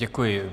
Děkuji.